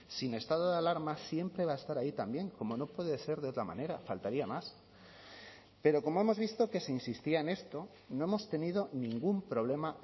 sin estado de alarma siempre va a estar ahí también como no puede ser de otra manera faltaría más pero como hemos visto que se insistía en esto no hemos tenido ningún problema